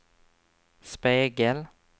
spegel